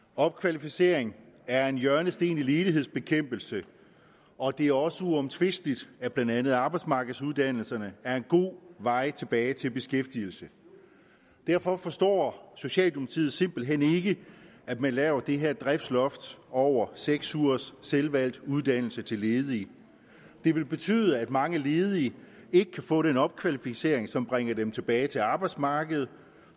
opkvalificering er en hjørnesten i ledighedsbekæmpelse og det er også uomtvisteligt at blandt andet arbejdsmarkedsuddannelserne er en god vej tilbage til beskæftigelse derfor forstår socialdemokratiet simpelt hen ikke at man laver det her driftsloft over seks ugers selvvalgt uddannelse til ledige det vil betyde at mange ledige ikke kan få den opkvalificering som bringer dem tilbage til arbejdsmarkedet at